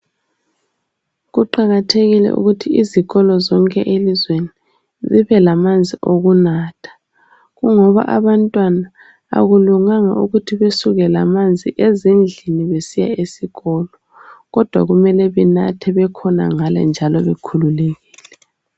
Kuqakathekile ukuthi izikolo zonke elizweni zibe lamanzi okunatha. Kungoba abantwana akulunganga ukuthi besuke lamanzi ezindlini besiya sikolo kodwa kumele benatha bekhonangale njalo bekhululekile.